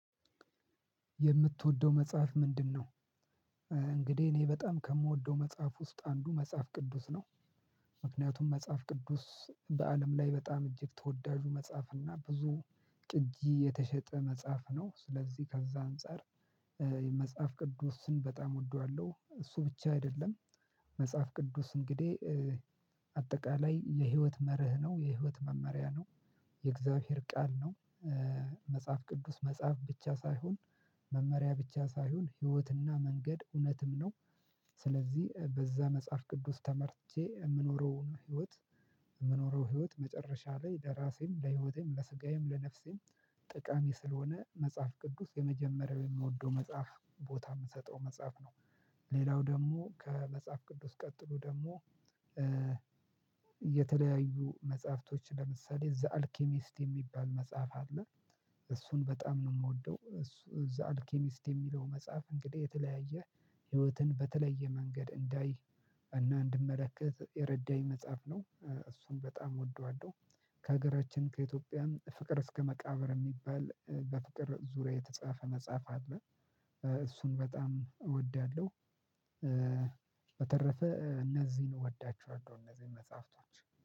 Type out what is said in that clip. የምትወደው መጽሐፍ ምንድንነው? እንግዲህ እኔ በጣም ከምወደው መጽሐፍ ውስጥ አንዱ መጽሐፍ ቅዱስ ነው። ምክንያቱም መጽሐፍ ቅዱስ በአለም ላይ በጣም እጅግ ተወዳጁ መጽሐፍ እና ብዙ ቅጂ የተሸጠ መጽሐፍ ነው። ስለዚህ ከዛ አንፃር የመጽሐፍ ቅዱስን በጣም እወደዋለሁ እሱ ብቻ አይደለም። መጽሐፍ ቅዱስ እንግዲህ አጠቃላይ የህይወት መርህ ነው የህይወት መመሪያ ነው። የእግዚአብሔር ቃል ነው። መጽሐፍ ቅዱስ መጽሐፍ ብቻ ሳይሆን መመሪያ ብቻ ሳይሆን ህይወትና መንገድ እውነትም ነው። ስለዚህ በዛ መጽሐፍ ቅዱስ ተመርቼ እምኖረውን ህይወት እምኖረው ህይወት መጨረሻ ላይ ለራሴም ለህይወቴም ለስጋዬም ለነፍሴም ጠቃሚ ስለሆነ መጽሐፍ ቅዱስ የመጀመሪያው የምወደው መጽሐፍ ቦታ የምትሰጠው መጽሐፍ ነው። ሌላው ደግሞ ከመጽሐፍ ቅዱስ ቀጥሎ ደግሞ የተለያዩ መጽሐፍቶች ለምሳሌ ዘ አልኬሚስት የሚባል መጽሐፍ አለ። እሱን በጣም ነው የምወደው እሱ ዘ አልኬሚስት የሚለው መጽሐፍ እንግዲህ የተለያየ ህይወትን በተለየ መንገድ እንዳይ እና እንድመለከት የረዳኝ መጽሐፍ ነው እሱን በጣም ወደዋለው። ከሀገራችን ከኢትዮጵያም ፍቅር እስከ መቃብር የሚባል በፍቅር ዙሪያ የተጻፈ መጽሐፍ አለ። እሱን በጣም እወዳለሁ። በተረፈ እነዚህን እወዳችኋለሁ እነዚህን መጽሐፍቶች